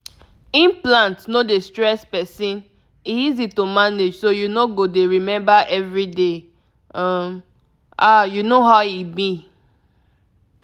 if you dey think implant e no get wahala — na soft birth control way small pause like e just too simple.